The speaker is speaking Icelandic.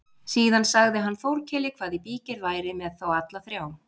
Síðan sagði hann Þórkeli hvað í bígerð væri með þá alla þrjá.